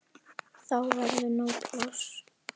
Þá verður nóg pláss.